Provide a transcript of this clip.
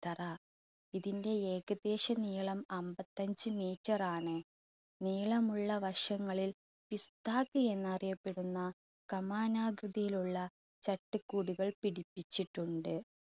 ത്തറ ഇതിൻറെ ഏകദേശം നീളം അമ്പത്തഞ്ച് meter റാണ്. നീളമുള്ള വശങ്ങളിൽ പിസ്ത്താക്കി എന്നറിയപ്പെടുന്ന കമാനാകൃതിയിലുള്ള ചട്ടി കൂടുകൾ പിടിപ്പിച്ചിട്ടുണ്ട്.